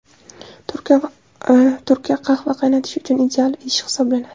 Turka qahva qaynatish uchun ideal idish hisoblanadi.